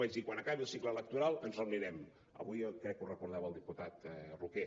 vaig dir quan acabi el cicle electoral ens reunirem avui crec que ho recordava el diputat roquer